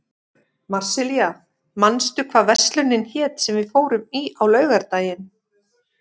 Marsilía, manstu hvað verslunin hét sem við fórum í á laugardaginn?